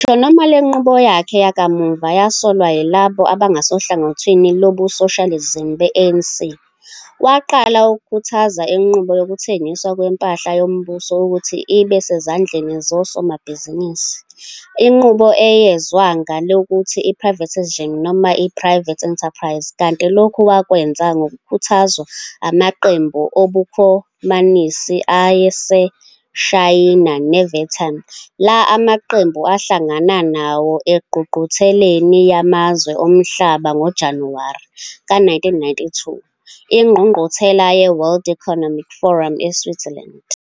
Ngisho noma le nqubo yakhe yakamuva yasolwa yilabo abangasohlangothini lobusoshalizimi be-ANC, waqala ukukhuthaza inqubo yokuthengiswa kwempahla yombuso ukuthi ibe sezandleni zosomabhizinisi, inqubo eyezwa ngelokuthi i-privatisation nomai- private enterprise kanti lokhu wakwenza ngokukhuthazwa amaqembu obukhomanisi aseShayina ne-Vietnam, la maqembu ahlangana nawo engqungqutheleni yamazwe omhlaba ngoJanuwari ka 1992, ingqungquthela ye-World Economic Forum eSwitzerland.